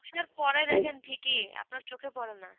তুষার পড়ার আগে ঠিক ই আপনার চোখে পরে না